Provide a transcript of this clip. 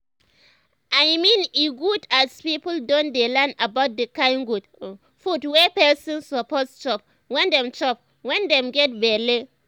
i mean e good as people don dey learn about the kind good um food wey person um suppose chop wen dem chop wen dem get belle um